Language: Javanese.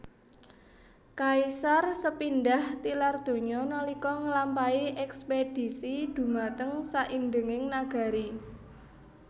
Kaisar Sepindhah tilar donya nalika nglampahi èkspèdhisi dhumateng saindhenging nagari